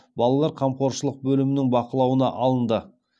балалар қамқоршылық бөлімінің бақылауына алынды